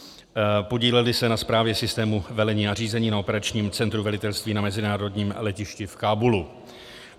Podíleli se na správě systému velení a řízení na operačním centru velitelství na mezinárodním letišti v Kábulu.